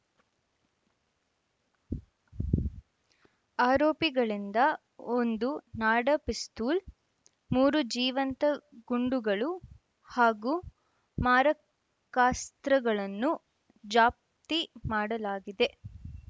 ಆರೋಪಿಗಳಿಂದ ಒಂದು ನಾಡ ಪಿಸ್ತೂಲ್‌ ಮೂರು ಜೀವಂತ ಗುಂಡುಗಳು ಹಾಗೂ ಮಾರಕಾಸ್ತ್ರಗಳನ್ನು ಜಪ್ತಿ ಮಾಡಲಾಗಿದೆ